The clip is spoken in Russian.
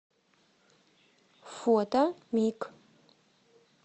фото мик